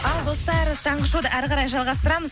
ал достар таңғы шоуды әрі қарай жалғастырамыз